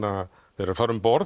þeir fara um borð